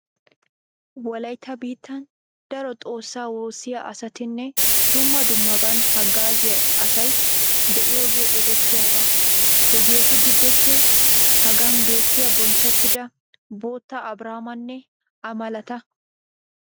Wolaytta biittan daro xoossaa woossiya asatinne dumma dummaban haggaaziya asay de'iyogee erettiyaba. Hegeetu giddoppe hagan beettiyay bonchchettida Bota Abiraamanne A malata.